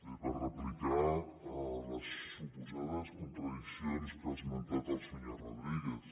bé per replicar les suposades contradiccions que ha esmentat el senyor rodríguez